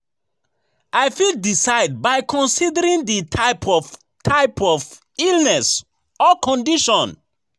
I fit decide by considering di type of type of illness or condition.